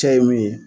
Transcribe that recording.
Cɛ ye mun ye